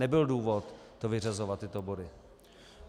Nebyl důvod to vyřazovat, tyto body.